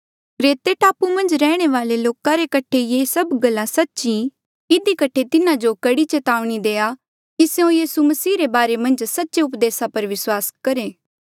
क्रेते टापू मन्झ रैहणे वाले लोका रे कठे ये गल ऐबे भी सच्ची ई इधी कठे तिन्हा जो कड़ी चेतावनी देआ कर कि स्यों यीसू मसीह रे बारे मन्झ सच्चे उपदेसा पर विस्वासा करहे